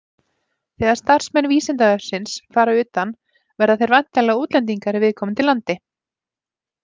Þegar starfsmenn Vísindavefsins fara utan verða þeir væntanlega útlendingar í viðkomandi landi.